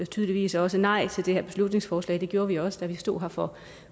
tydeligvis også nej til det her beslutningsforslag det gjorde vi også da vi stod her for